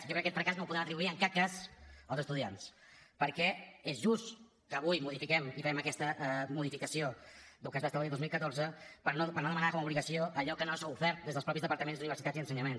jo crec que aquest fracàs no el podem atribuir en cap cas als estudiants perquè és just que avui modifiquem i fem aquesta modificació del que es va establir el dos mil catorze per no demanar com a obligació allò que no s’ha ofert des dels mateixos departaments d’universitats i ensenyament